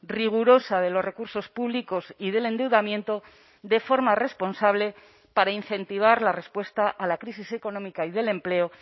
rigurosa de los recursos públicos y del endeudamiento de forma responsable para incentivar la respuesta a la crisis económica y del empleo